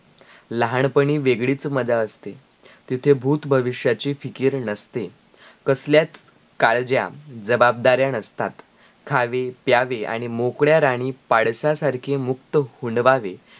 लहानपणी वेगळीच मजा असते, तीथे भूत-भविष्याची फिकीर नसते कसल्याच काळज्या जवाबदाऱया नसतात खावे प्यावे आणी मोकड्यारानी पाडसा सारकी मुक्त हुंडवावे